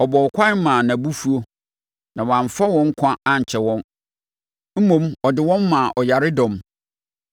Ɔbɔɔ ɛkwan maa nʼabufuo; na wamfa wɔn nkwa ankyɛre wɔn mmom ɔde wɔn maa ɔyaredɔm.